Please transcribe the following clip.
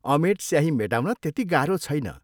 अमेट स्याही मेटाउन त्यति गाह्रो छैन।